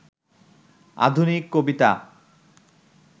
আধুনিক কবিতা